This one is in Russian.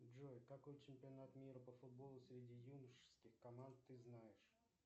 джой какой чемпионат мира по футболу среди юношеских команд ты знаешь